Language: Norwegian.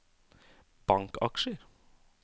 bankaksjer